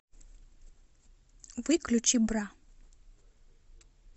выключи бра